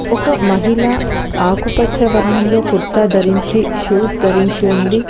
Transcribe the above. ఒక మహిళ ఆకుపచ్చ వర్ణంలో కుర్తా ధరించి షూస్ ధరించి ఉంది